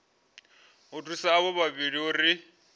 u thusa avho vhavhili uri